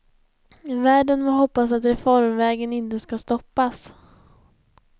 Världen må hoppas att reformvägen inte ska stoppas.